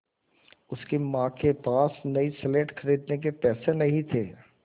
उसकी माँ के पास नई स्लेट खरीदने के पैसे नहीं थे